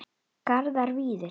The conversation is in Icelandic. Garðar Víðir.